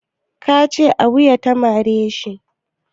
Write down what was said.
Ka ce a wuya ta mare shi?